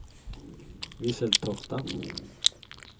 Visseltofta